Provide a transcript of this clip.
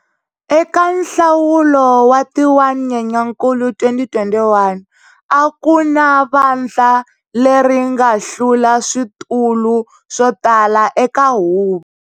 Eka nhlawulo wa ti 1 Nyenyankulu 2021, a ku na vandla leri nga hlula switulu swo tala eka huvo.